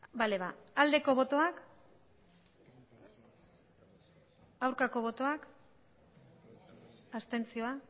bale aldeko botoak aurkako botoak abstentzioa